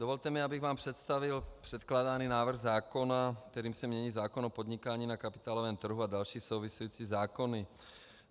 Dovolte mi, abych vám představil předkládaný návrh zákona, kterým se mění zákon o podnikání na kapitálovém trhu a další související zákony.